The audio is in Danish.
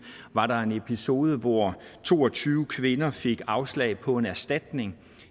var en episode hvor to og tyve kvinder fik afslag på en erstatning